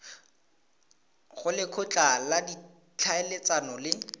go lekgotla la ditlhaeletsano le